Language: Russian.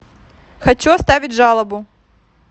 хочу оставить жалобу